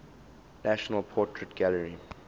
national portrait gallery